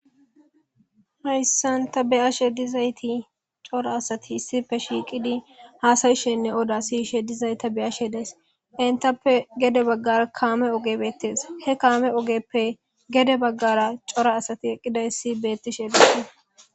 hayssan ta beyashe dizayti cora asati issipe shiiqidi haasayishenne oda siyishe dizay ta beyashe des entappe gede baggara kaame ogebettees he kaame ogeppe gede baggara cora asati eqqidayssi beettishe dii